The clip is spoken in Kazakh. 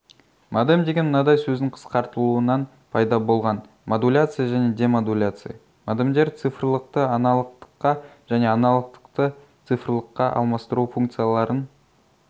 модем деген мынадай сөздің қысқартылуынан пайда болған модуляция және демодуляция модемдер цифрлықты-аналогтыққа және аналогтықты-цифрлыққа алмастыру функцияларын